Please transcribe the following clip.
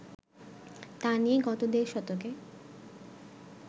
তা নিয়ে গত দেড় দশকে